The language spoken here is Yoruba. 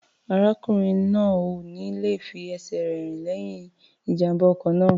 Arákùnrin náà ò ní le fi ẹsẹ̀ rẹ̀ rìn lẹ́yìn ìjàm̀bá ọkọ̀ náà.